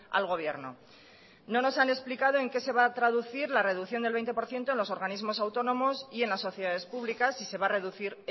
al gobierno no nos han explicado en qué se va a traducir la reducción del veinte por ciento en los organismos autónomos y en las sociedades públicas y si se va a reducir